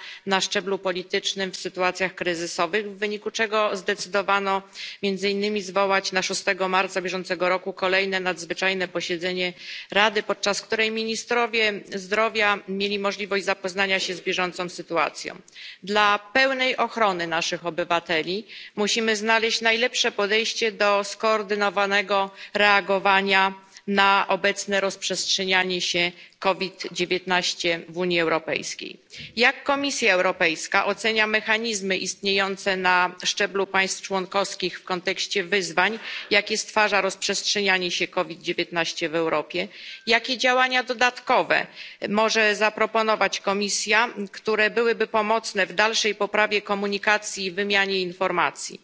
Pani Przewodnicząca! Drugiego marca bieżącego roku Unia Europejska przeszła do pełnego aktywowania zintegrowanego uzgodnienia unijnego dotyczącego reagowania na szczeblu politycznym w sytuacjach kryzysowych, w wyniku czego zdecydowano między innymi zwołać na szóstego marca bieżącego roku kolejne nadzwyczajne posiedzenie Rady, podczas której ministrowie zdrowia mieli możliwość zapoznania się z bieżącą sytuacją. Dla pełnej ochrony naszych obywateli musimy znaleźć najlepsze podejście do skoordynowanego reagowania na obecne rozprzestrzenianie się COVID 19 w Unii Europejskiej. Jak Komisja Europejska ocenia mechanizmy istniejące na szczeblu państw członkowskich w kontekście wyzwań, jakie stwarza rozprzestrzenianie się COVID 19 w Europie? Jakie działania dodatkowe może zaproponować Komisja, które byłyby pomocne w dalszej poprawie komunikacji i wymianie informacji?